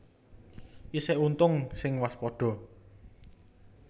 Isih untung sing waspada